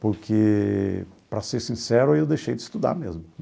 Porque, para ser sincero, eu deixei de estudar mesmo.